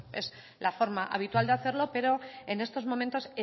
bueno es la forma habitual de hacerlo pero en estos momentos